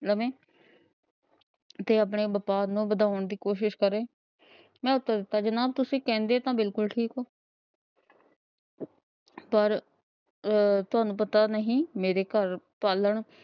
ਲਵੇ ਤੇ ਆਪਨੇ ਵਪਾਰ ਨੂੰ ਵਧਾਉਣ ਦੀ ਕੋਸ਼ਿਸ਼ ਕਰੇ ਤੁਸੀ ਕਹਿੰਦੇ ਤਾਂ ਬਿਲਕੁਲ ਠੀਕ ਹੋ, ਪਰ ਤੁਹਾਨੂੰ ਪਤਾ ਨਹੀਂ ਮੇਰੇ ਘਰ ਪਾਲਣ